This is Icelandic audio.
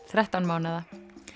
þrettán mánaða .